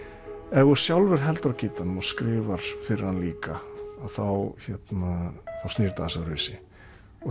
ef þú sjálfur heldur á gítarnum og skrifar fyrir hann líka þá snýr þetta aðeins öðruvísi og